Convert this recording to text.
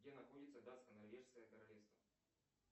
где находится датско норвежское королевство